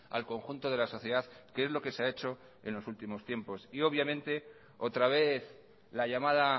al conjunto de la sociedad que es lo que se ha hecho en los últimos tiempos obviamente otra vez la llamada